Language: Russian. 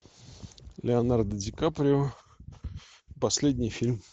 леонардо ди каприо последний фильм